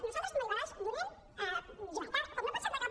nosaltres com a liberals donem llibertat com no pot ser de cap